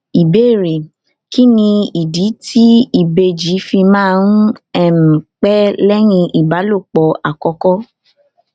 ìbéèrè kí nìdí tí ìbejì fi máa um ń pé léyìn ìbálòpò àkókó